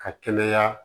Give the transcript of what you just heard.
Ka kɛnɛya